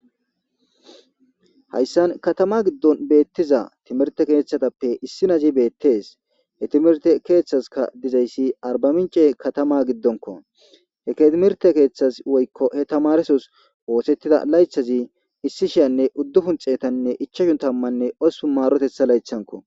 Hayssan katama giddon beettiza timerte kethatappe issi nazi bettes he timerte kethazka dizayssi arbamince katama giddonko he ketimirte ketas woykko he tamaresos woosettida laythazi issi shiyanne uddu hun xeetanne ichashu tammanne ossupun maarotetha laythanko.